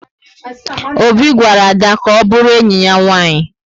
Obi gwara Ada ka ọ bụrụ enyi ya nwanyị